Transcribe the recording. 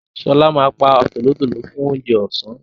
Ṣọlá ma pa tòlótòló fún oúnjẹ ọ̀sá